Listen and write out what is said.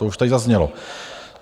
To už tady zaznělo.